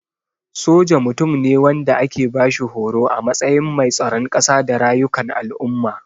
Soja Mutum ne wanda ake bashi horo a matsayin mai tsaron kasa da rayukan al'umma.